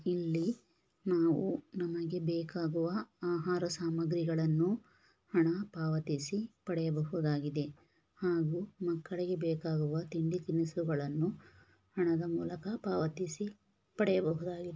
ಇಲ್ಲಿ ನಾವು ನಮಗೆ ಬೇಕಾದ ಆಹಾರ ಸಾಮಗ್ರಿಗಳನ್ನು ಹಣ ಪಾವತಿಸಿ ಪಡೆಯಬಹುದಾಗಿದೆ ಹಾಗೂ ಮಕ್ಕಳಿಗೆ ಬೇಕಾಗುವ ತಿಂಡಿ ತಿನಿಸುಗಳನ್ನು ಹಣದ ಮೂಲಕ ಪಾವತಿಸಿ ಪಡೆಯಬಹುದಾಗಿದೆ.